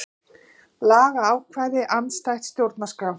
Lagaákvæði andstætt stjórnarskrá